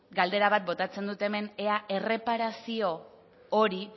galdera bat botatzen dut hemen ea erreparazio hori